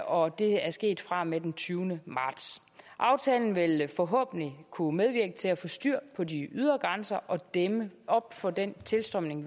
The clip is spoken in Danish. og det er sket fra og med den tyvende marts aftalen vil forhåbentlig kunne medvirke til at få styr på de ydre grænser og dæmme op for den tilstrømning